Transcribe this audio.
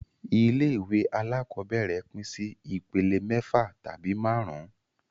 Ilé ìwé alákọ́bẹ̀rẹ̀ pín sí ìpele mẹ́fà tabi máàrún